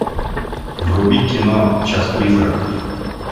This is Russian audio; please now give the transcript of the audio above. вруби кино час призраков